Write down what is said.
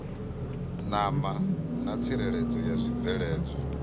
ṋama na tsireledzo ya zwibveledzwa